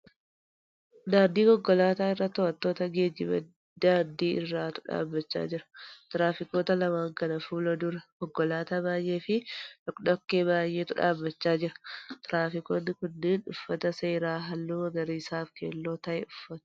Daandii konkolaataa irra to'attoota geejjiba daandii irraatu dhaabbachaa jira. Tiraafikoota lamaan kana fuula dura konkolaataa baay'ee fi dhokkodhokkee baay'eetu dhaabbachaa jira. Tiraafikoonni kunneen uffata seeraa halluu magariisaa fi keelloo ta'e uffatu.